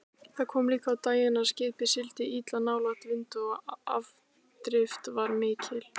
Það kom líka á daginn að skipið sigldi illa nálægt vindi og afdrift var mikil.